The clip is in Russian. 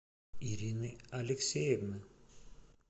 ирины алексеевны